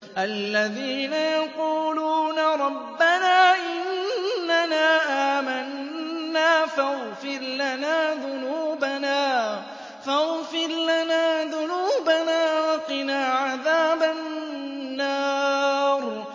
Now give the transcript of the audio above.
الَّذِينَ يَقُولُونَ رَبَّنَا إِنَّنَا آمَنَّا فَاغْفِرْ لَنَا ذُنُوبَنَا وَقِنَا عَذَابَ النَّارِ